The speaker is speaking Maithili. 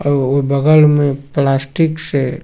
ओ ओय बगल में प्लास्टिक से --